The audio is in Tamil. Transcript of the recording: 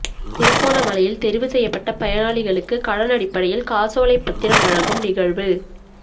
திருகோணமலையில் தெரிவு செய்யப்பட்ட பயனாளிகளுக்கு கடனடிப்படையில் காசோலை பத்திரம் வழங்கும் நிகழ்வு